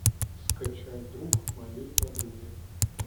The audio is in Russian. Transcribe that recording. скачай друг моей подруги